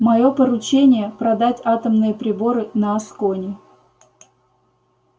моё поручение продать атомные приборы на аскони